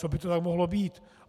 Co by to tak mohlo být?